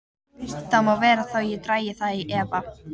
Það má vera þó ég dragi það í efa.